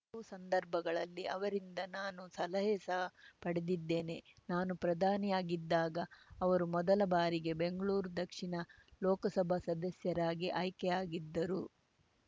ಹಲವು ಸಂದರ್ಭಗಳಲ್ಲಿ ಅವರಿಂದ ನಾನು ಸಲಹೆ ಸಹ ಪಡೆದಿದ್ದೇನೆ ನಾನು ಪ್ರಧಾನಿಯಾಗಿದ್ದಾಗ ಅವರು ಮೊದಲ ಬಾರಿಗೆ ಬೆಂಗಳೂರ್ ದಕ್ಷಿಣ ಲೋಕಸಭಾ ಸದಸ್ಯರಾಗಿ ಆಯ್ಕೆಯಾಗಿದ್ದರು